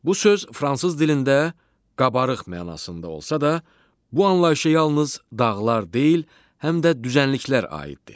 Bu söz fransız dilində qabarıq mənasında olsa da, bu anlayışa yalnız dağlar deyil, həm də düzənliklər aiddir.